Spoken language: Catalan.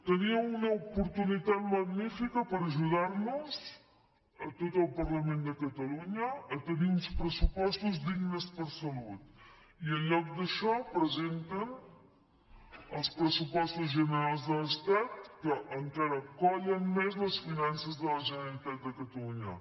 teníeu una oportunitat magnífica per ajudar nos a tot el parlament de catalunya a tenir uns pressupostos dignes per a salut i en lloc d’això presenten els pressupostos generals de l’estat que encara collen més les finances de la generalitat de catalunya